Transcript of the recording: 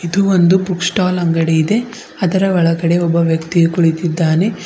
ಇದು ಒಂದು book stall ಅಂಗಡಿಯಿದೆ ಅದರ ಒಳಗಡೆ ಒಬ್ಬ ವ್ಯಕ್ತಿ ಕುಳಿತಿದ್ದಾನೆ.